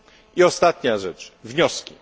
I ostatnia rzecz wnioski.